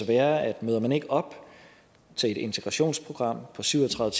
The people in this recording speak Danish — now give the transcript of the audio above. være at møder man ikke op til et integrationsprogram på syv og tredive